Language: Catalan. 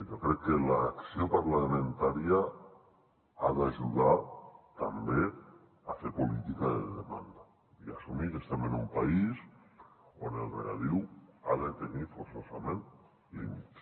jo crec que l’acció parlamentària ha d’ajudar també a fer política de demanda i a assumir que estem en un país on el regadiu ha de tenir forçosament límits